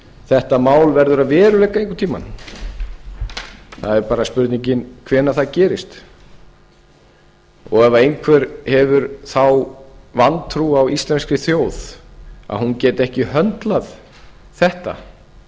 þetta mál verður að veruleika einhvern tíma það er bara spurningin hvenær það gerist ef einhver hefur þá vantrú á á íslenskri þjóð að hún geti ekki höndlað þetta